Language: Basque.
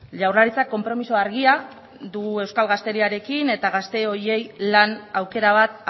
jaurlaritzak konpromiso argia du euskal gazteriarekin eta gazte horiei lan aukera bat